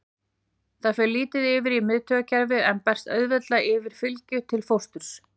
Það fer lítið yfir í miðtaugakerfið en berst auðveldlega yfir fylgju til fósturs.